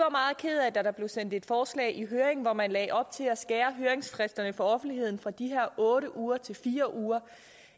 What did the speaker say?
kede af at der blev sendt et forslag i høring hvor man lagde op til at skære høringsfristerne for offentligheden fra de her otte uger til fire uger